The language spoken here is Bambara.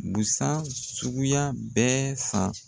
Busan suguya bɛɛ san.